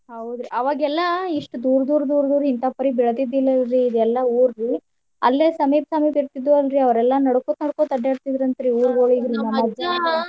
ಹೌದ್ರಿ ಅವಾಗೆಲ್ಲಾ ಇಷ್ಟ್ ದೂರ ದೂರ ದೂರ ದೂರ ಇಂತಾ ಪರಿ ಬೆಳದಿದ್ದಿಲ್ಲಲ್ರಿ ಇದೆಲ್ಲಾ ಊರಿ ಅಲ್ಲೆ ಸಮೀಪ ಸಮೀಪ ಇರ್ತಿದ್ವು ಅಲ್ರಿ ಅವ್ರೆಲ್ಲಾ ನಡಕೋತ್ ನಡಕೋತ್ ಅಡ್ಯಾಡ್ತಿದ್ರ ಅಂತ್ರಿ .